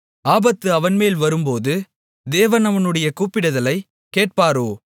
ஆபத்து அவன்மேல் வரும்போது தேவன் அவனுடைய கூப்பிடுதலைக் கேட்பாரோ